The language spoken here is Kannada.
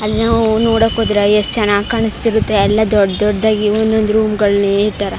ಅಲ್ಲ ನಾವು ನೋಡಕ್ ಹೋದ್ರೆ ಎಷ್ಟ ಚನ್ನಾಗಿ ಕಾಣಿಸ್ತಿರುತ್ತೆ ಅಲ್ಲ ದೊಡ್ಡ ದೊಡ್ಡದಾಗಿ ಒಂದ ಒಂದ ರೂಮ್ ಗಳಲ್ಲಿ ಇಟ್ಟರ್ .